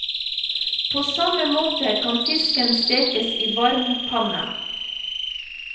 På samme måte kan fisken stekes i varm panne.